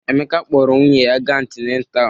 Emeka kpọọrọ nwunye ya ga antinetal.